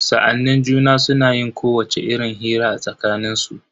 Sa'annin juna suna yin kowacce irin hira a tsakanin su.